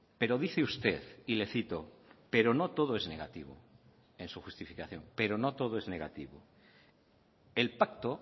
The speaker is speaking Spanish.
pero dice usted y le cito pero no todo es negativo en su justificación pero no todo es negativo el pacto